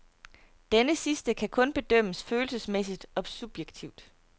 Denne sidste kan kun bedømmes følelsesmæssigt og subjektivt.